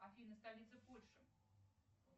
афина столица польши